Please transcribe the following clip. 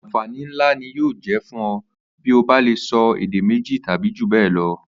Àǹfàní ńlá ni yóò jé̩ fún o̩ bí o bá lè so̩ èdè méjì tàbí jù bé̩è̩ lo